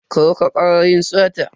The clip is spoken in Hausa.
Kar ka kara yin sata.